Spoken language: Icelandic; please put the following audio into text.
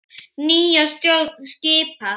Nýja stjórn skipa.